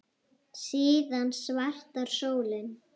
Síðan svartar sólir.